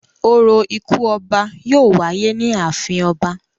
Orȯ ikú ọba yóò wáyé ní ààfin ọba.